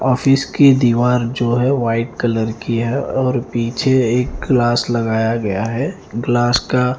office की दीवार जो है वाइट कलर की है और पीछे एक ग्लास लगाया गया है ग्लास का--